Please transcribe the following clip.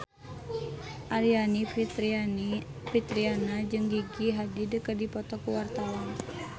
Aryani Fitriana jeung Gigi Hadid keur dipoto ku wartawan